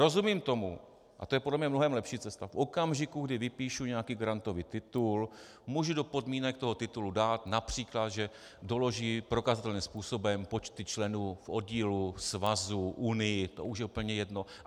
Rozumím tomu, a to je podle mne mnohem lepší cesta, v okamžiku, kdy vypíšu nějaký grantový titul, můžu do podmínek toho titulu dát například, že doloží prokazatelným způsobem počty členů v oddílu, svazu, unii, to už je úplně jedno.